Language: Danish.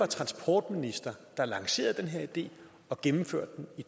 transportminister der lancerede den her idé og gennemførte den i